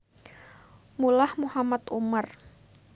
Mullah Mohammad Omar